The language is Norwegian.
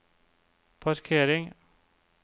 parkering